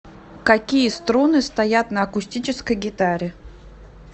какие струны стоят на акустической гитаре